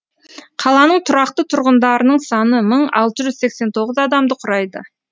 қаланың тұрақты тұрғындарының саны мың алты жүз сексен тоғыз адамды құрайды